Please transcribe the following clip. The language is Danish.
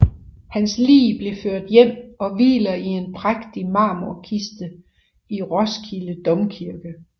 Hans lig blev ført hjem og hviler i en prægtig marmorkiste i Roskilde Domkirke